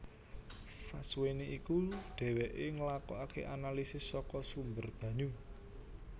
Sasuwene iku dheweke nglakokake analisis saka sumber banyu